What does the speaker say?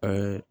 An ye